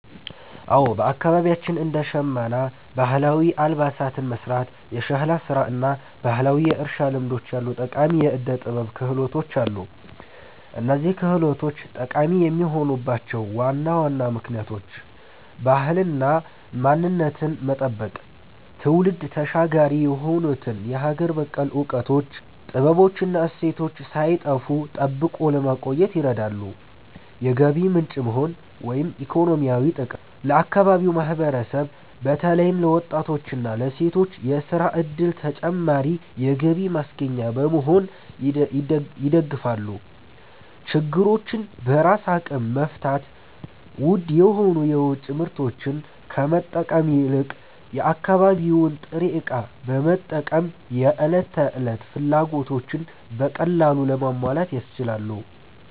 አዎ፣ በአካባቢያችን እንደ ሸመና (ባህላዊ አልባሳትን መሥራት)፣ የሸክላ ሥራ እና ባህላዊ የእርሻ ልምዶች ያሉ ጠቃሚ የዕደ-ጥበብ ክህሎቶች አሉ። እነዚህ ክህሎቶች ጠቃሚ የሆኑባቸው ዋና ዋና ምክንያቶች፦ ባህልንና ማንነትን መጠበቅ፦ ትውልድ ተሻጋሪ የሆኑትን የሀገር በቀል እውቀቶች፣ ጥበቦች እና እሴቶች ሳይጠፉ ጠብቆ ለማቆየት ይረዳሉ። የገቢ ምንጭ መሆን (ኢኮኖሚያዊ ጥቅም)፦ ለአካባቢው ማህበረሰብ በተለይም ለወጣቶችና ለሴቶች የሥራ ዕድልና ተጨማሪ የገቢ ማስገኛ በመሆን ይደግፋሉ። ችግሮችን በራስ አቅም መፍታት፦ ውድ የሆኑ የውጭ ምርቶችን ከመጠበቅ ይልቅ የአካባቢውን ጥሬ ዕቃ በመጠቀም የዕለት ተዕለት ፍላጎቶችን በቀላሉ ለማሟላት ያስችላሉ።